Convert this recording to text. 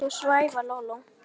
Þú svæfa Lóló